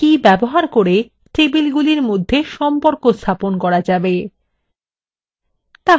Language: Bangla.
এবং foreign কি ব্যবহার করে টেবিলগুলির মধ্যে সম্পর্ক স্থাপন করা যাবে